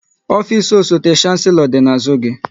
Ofisi osote Shanselo dị n'azụ gị